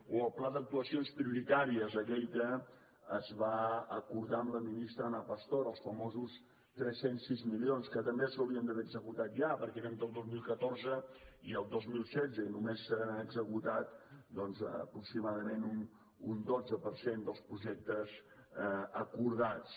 o el pla d’actuacions prioritàries aquell que es va acordar amb la ministra ana pastor els famosos tres cents i sis milions que també s’haurien d’haver executat ja perquè eren del dos mil catorze i el dos mil setze i només se n’han executat doncs aproximadament un dotze per cent dels projectes acordats